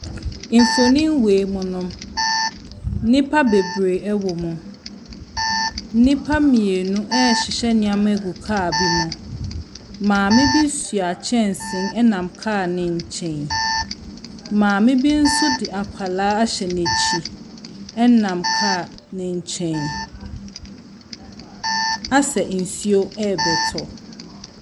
Mfonin wei mu no, nnipa bebree ɛwɔ mu. Nnipa mmienu ɛɛhyehyɛ nneɛma agu kaa bi mu. Maame bi soa kyɛnsee ɛnam kaa ne nkyɛn. Maame bi nso de akwadaa ahyɛ nakyi ɛnam kaa ne nkyɛn. Asɛ nsuo ɛɛbɛtɔ.